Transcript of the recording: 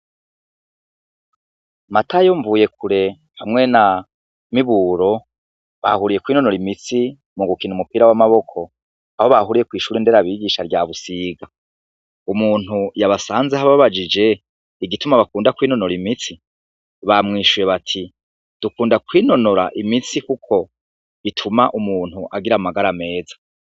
Matayo, Mvuyekure hamwe na Miburo bahuriye kwinonora imitsi mu gukina umupira w'amaboko aho bahuriye kw'ishure nderabigisha rya Busiga. Umuntu yabasanzeho ababajije igituma bakunda kwinonora imitsi, bamwishuye bati: "Dukunda kwinonora imitsi kuko bituma umuntu agira amagara meza."